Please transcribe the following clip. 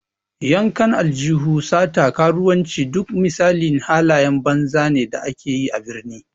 Yankan aljihu, sata, karuwanci, duk misalin halayen banza ne da ake yi a birni.